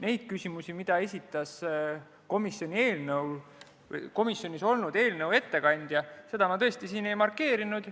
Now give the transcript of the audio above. Neid küsimusi, mida esitas komisjonis olnud eelnõu ettekandja, ma tõesti ei markeerinud.